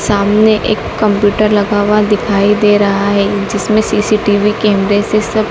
सामने एक कंप्यूटर लगा हुआ दिखाई दे रहा है जिसमें सी_सी_टी_वी कैमरे से सब--